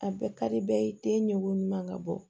A bɛɛ ka di bɛɛ ye te ɲugu ɲuman ka bɔ